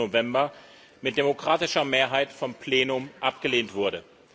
14. November, mit demokratischer Mehrheit vom Plenum abgelehnt wurde.